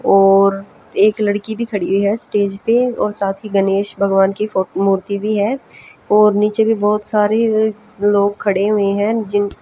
और एक लड़की भी खड़ी है स्टेज पे और साथ ही गणेश भगवान की फो मूर्ति भी है और नीचे भी बहोत सारी लोग खड़े हुए है जिन --